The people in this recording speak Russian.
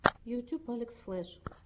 ютьюб алекс флеш